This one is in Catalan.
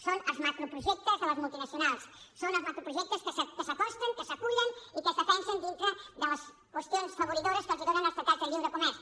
són els macroprojectes de les multinacionals són els macroprojectes que s’acosten que s’acullen i que es defensen dintre de les qüestions afavoridores que els donen els tractats de lliure comerç